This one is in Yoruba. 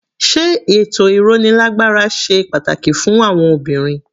Sé ètò ìrónilágbára ṣe pàtàkì fún àwọn obìnrin?